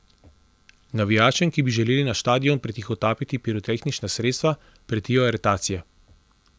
Navijačem, ki bi želeli na štadion pretihotapiti pirotehnična sredstva, pretijo aretacije.